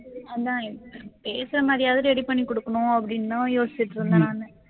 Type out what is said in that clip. அதான் பேசுற மாதிரியாவது ready பண்ணி கொடுக்கணும் அப்படின்னு தான் யோசிச்சுட்டு இருந்தேன் நானு